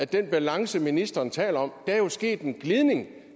den balance ministeren taler om jo er sket en glidning